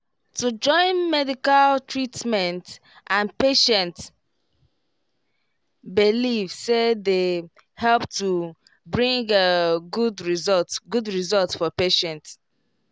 to join medical treatment and patient beliefse dey help to bring good result good result for patient